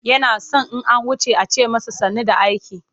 Yana son in an wuce a ce masa sannu da aiki.